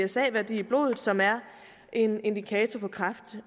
psa værdi i blodet som er en indikator på kræft